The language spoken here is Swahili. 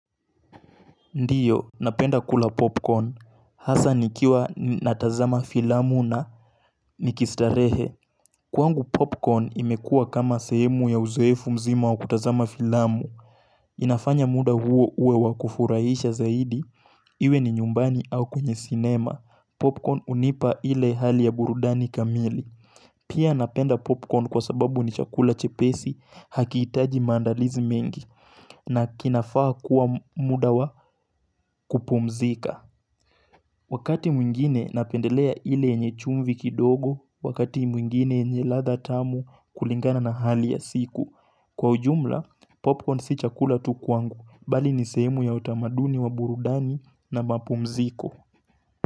Ndiyo, napenda kula popcorn, hasa nikiwa natazama filamu na nikistarehe Kwangu popcorn imekua kama sehemu ya uzoefu mzima wa kutazama filamu inafanya muda huo uwe wakufurahisha zaidi Iwe ni nyumbani au kwenye sinema. Popcorn unipa ile hali ya burudani kamili Pia napenda popcorn kwa sababu ni chakula chepesi. Hakihitaji maandalizi mengi na kinafaa kuwa muda wa kupumzika Wakati mwingine napendelea ile yenye chumvi kidogo, wakati mwingine yenye ladha tamu kulingana na hali ya siku. Kwa ujumla, popcorn si chakula tu kwangu, bali nisehemu ya utamaduni wa burudani na mapumziko.